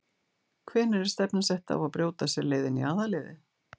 Hvenær er stefnan sett á að brjóta sér leið inn í aðalliðið?